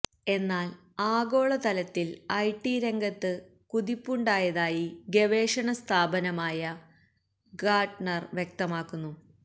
എന്നാൽ ആഗോള തലത്തിൽ ഐടിരംഗത്ത് കുതിപ്പുണ്ടായതായി ഗവേഷണ സ്ഥാപനമായ ഗാർട്ട്നർ വ്യക്തമാക്കുന്നു